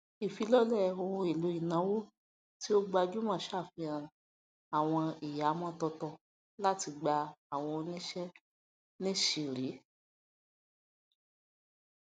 ìṣàfilọlẹ ohun èlò ìnáwó tí ó gbajúmọ ṣàfihàn àwọn ìhàmọ tuntun láti gba àwọn oníṣe níṣìírí